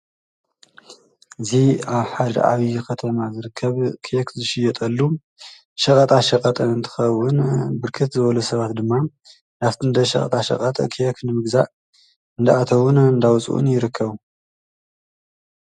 እዚ ኣብ ሓደ ዓብዩዪከተማ ዝርከብ ኬክ ዝሽየጠሉ ሸቀጣሸቀጥ እንትከውን ብርክት ዝበሉ ሰባት ድማ ናብቲ እንዳ ሸቀጣሸቀጥ ኬክ ንምግዛእ እንዳኣተውን እንዳወፁን ይርከቡ።